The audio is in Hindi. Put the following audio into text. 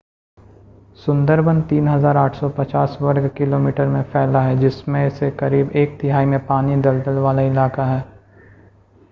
सुंदरबन 3,850 वर्ग किलोमीटर में फैला है जिसमें से करीब एक तिहाई में पानी/दलदल वाला इलाका है